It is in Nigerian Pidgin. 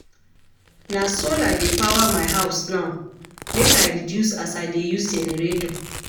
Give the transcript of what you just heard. Na solar dey power my house now make I reduce as I dey use generator.